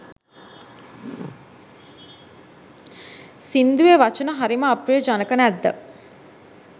සිංදුවේ වචන හරිම අප්‍රියජනක නැද්ද?